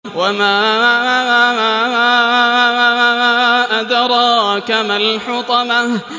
وَمَا أَدْرَاكَ مَا الْحُطَمَةُ